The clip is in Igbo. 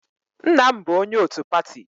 Nna m bụ onye otu pati